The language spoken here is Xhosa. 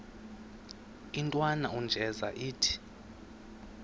intwana unjeza ithi